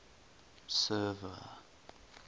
server